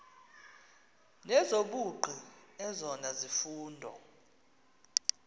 nezobugqi ezona zifundo